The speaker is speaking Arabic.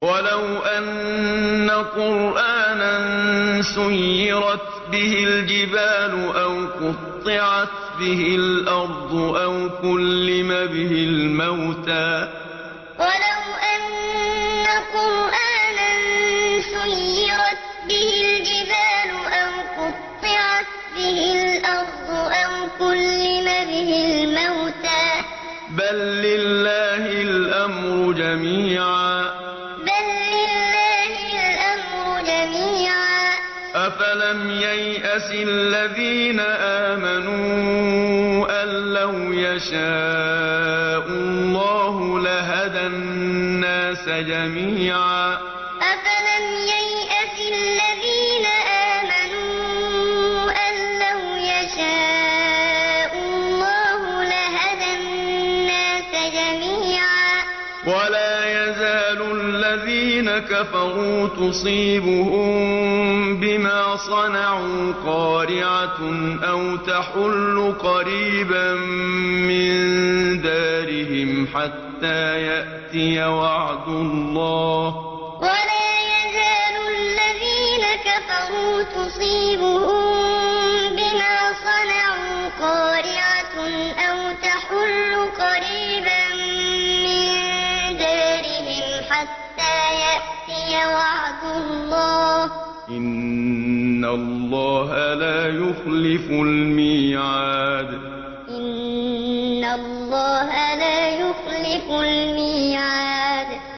وَلَوْ أَنَّ قُرْآنًا سُيِّرَتْ بِهِ الْجِبَالُ أَوْ قُطِّعَتْ بِهِ الْأَرْضُ أَوْ كُلِّمَ بِهِ الْمَوْتَىٰ ۗ بَل لِّلَّهِ الْأَمْرُ جَمِيعًا ۗ أَفَلَمْ يَيْأَسِ الَّذِينَ آمَنُوا أَن لَّوْ يَشَاءُ اللَّهُ لَهَدَى النَّاسَ جَمِيعًا ۗ وَلَا يَزَالُ الَّذِينَ كَفَرُوا تُصِيبُهُم بِمَا صَنَعُوا قَارِعَةٌ أَوْ تَحُلُّ قَرِيبًا مِّن دَارِهِمْ حَتَّىٰ يَأْتِيَ وَعْدُ اللَّهِ ۚ إِنَّ اللَّهَ لَا يُخْلِفُ الْمِيعَادَ وَلَوْ أَنَّ قُرْآنًا سُيِّرَتْ بِهِ الْجِبَالُ أَوْ قُطِّعَتْ بِهِ الْأَرْضُ أَوْ كُلِّمَ بِهِ الْمَوْتَىٰ ۗ بَل لِّلَّهِ الْأَمْرُ جَمِيعًا ۗ أَفَلَمْ يَيْأَسِ الَّذِينَ آمَنُوا أَن لَّوْ يَشَاءُ اللَّهُ لَهَدَى النَّاسَ جَمِيعًا ۗ وَلَا يَزَالُ الَّذِينَ كَفَرُوا تُصِيبُهُم بِمَا صَنَعُوا قَارِعَةٌ أَوْ تَحُلُّ قَرِيبًا مِّن دَارِهِمْ حَتَّىٰ يَأْتِيَ وَعْدُ اللَّهِ ۚ إِنَّ اللَّهَ لَا يُخْلِفُ الْمِيعَادَ